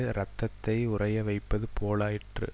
இரத்தத்தை உறைய வைப்பது போலாயிற்று